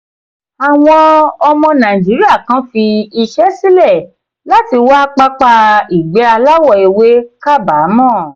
àwọn ọmọ nàìjíríà kan fi iṣẹ́ sílẹ̀ láti wá pápá ìgbẹ́ aláwọ̀ ewé kábàámọ̀.